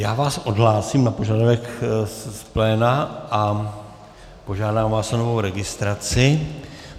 Já vás odhlásím na požadavek z pléna a požádám vás o novou registraci.